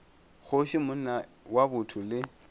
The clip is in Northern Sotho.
kgoši monna wa botho le